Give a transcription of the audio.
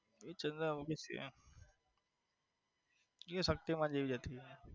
એ ચંદ્રામુખી એ શક્તિમાન જેવી જ હતી.